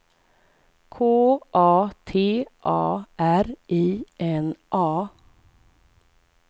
K A T A R I N A